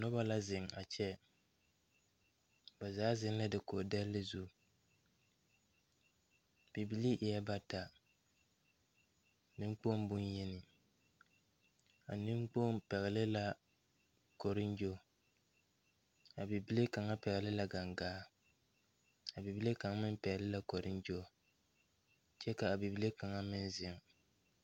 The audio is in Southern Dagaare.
Nobɔ la zeŋ a kyɛ ba zaa zeŋ la dakoge dɛlle zu bibilii eɛɛ bata neŋkpoŋ bonyeni a neŋkpoŋ pɛgle la koriŋgyoŋ a bibile kaŋa pɛgle la gangaa a bibile kaŋa meŋ pɛgle la koriŋgyoŋ kyɛ ka a bible kaŋa meŋ zeŋ.